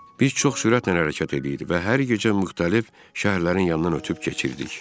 Biz çox sürətlə hərəkət eləyirdik və hər gecə müxtəlif şəhərlərin yanından ötüb keçirdik.